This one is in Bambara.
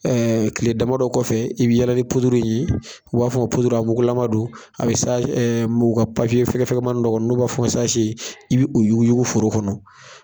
Tile damadɔ kɔfɛ i bi yala ni ye n'u b'a fɔ a mugulama don a bɛ ka papiye fɛgɛfɛgɛmanin dɔ kɔnɔ n'u b'a o ma i bi o yuguyugu foro kɔnɔ.